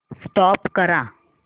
stop करा